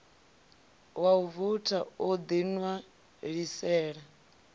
wa u voutha u ḓiṋwalisela